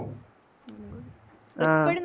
ആ